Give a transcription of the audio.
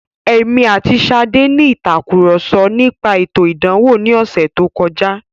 Èmi àti Ṣadé ní ìtàkurọ̀sọ nípa ètò ìdánwò ní ọ̀sẹ̀ tó kọjá.